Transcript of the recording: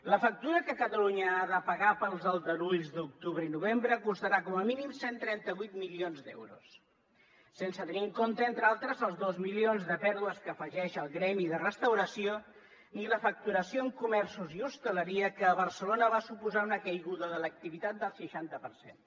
la factura que catalunya ha de pagar pels aldarulls d’octubre i novembre costarà com a mínim cent i trenta vuit milions d’euros sense tenir en compte entre altres els dos milions de pèrdues que afegeix el gremi de restauració ni la facturació en comerços i hostaleria que a barcelona va suposar una caiguda de l’activitat del seixanta per cent